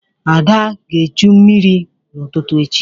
Ada ga-echu mmiri n'ụtụtụ echi.